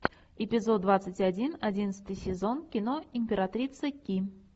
эпизод двадцать один одиннадцатый сезон кино императрица ки